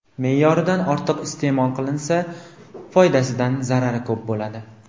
Me’yoridan ortiq iste’mol qilinsa, foydasidan zarari ko‘p bo‘ladi.